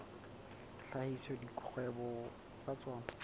a hlahisa dikgwebo tsa tsona